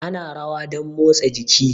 Ana rawa domn motsa jiki